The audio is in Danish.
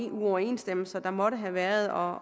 uoverensstemmelser der måtte have været og